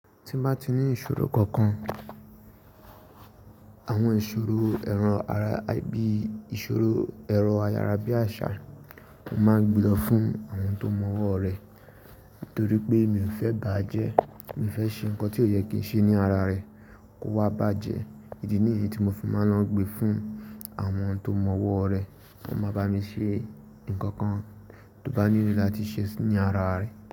Tí n bá ti ní ìṣòro kankan, àwọn ìṣòro ero ara, bíi ìṣòro ero ayárá bí àṣà, o máa gbe lo fún àwọn tó mọ ọwọ́ rẹ. Torí pé mi ò fẹ́ baa jẹ, mi ò fẹ́ ṣe nǹkan tí ó yẹ kí n ṣe ní ara rẹ, kó wá bàjẹ́. Èdè nìyẹn tí mo fi máa ń lọ gbe fún àwọn tó mọ ọwọ́ rẹ, won máa bá mi ṣe nǹkan kan tó bá ní ìrírí láti ṣe ní ara rẹ.